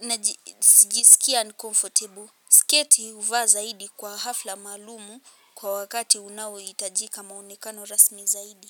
najisikia 'uncomfortable'. Sketi huvaa zaidi kwa hafla maalum kwa wakati unaohitajika maonekano rasmi zaidi.